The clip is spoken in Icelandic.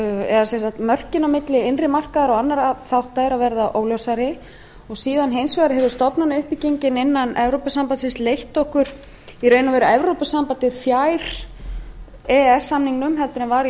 eða mörkin á milli innri markaðar og annarra þátta eru að verða óljósari og síðan hins vegar hefur stofnanauppbyggingin innan evrópusambandsins leitt okkur í raun og veru evrópusambandið fjær evrópusamningnum heldur en var í